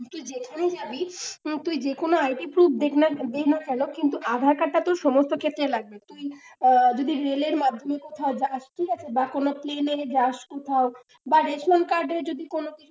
তুই যেখানেই যাবি, তুই যে কোন id proof দিস না কেন aadhaar card টা তোর সমস্ত ক্ষেত্রেই লাগবে, তুই যদি রেলের মাধ্যমে কোথাও যাস ঠিক আছে, বা কোন plane যাস কোথাও, বা ration card এ যদি কোন কিছু,